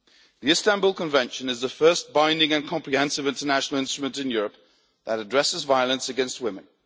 The Istanbul Convention is the first binding and comprehensive international instrument in Europe that addresses violence against women.